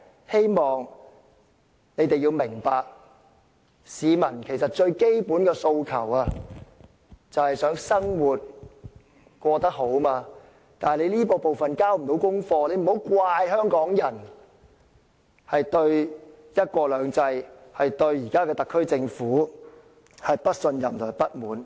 希望他們明白，市民最基本的訴求是想生活過得好，但他們未能交功課，莫怪香港人對"一國兩制"及特區政府不信任和不滿。